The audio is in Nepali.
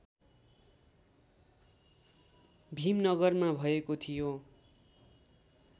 भिमनगरमा भएको थियो